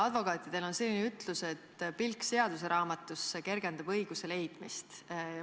Advokaatidel on selline ütlus, et pilk seaduseraamatusse kergendab õiguse leidmist.